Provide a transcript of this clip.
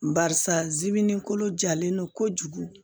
Barisa zimini kolo jalen don kojugu